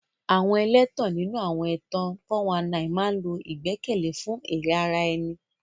Àwọn ẹlẹ́tàn nínú àwọn ẹ̀tàn 419 máa ń lo ìgbẹ́kẹ̀lé fún èrè ara ẹni.